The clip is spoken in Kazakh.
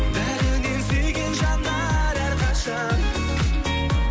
бәрінен сүйген жандар әрқашан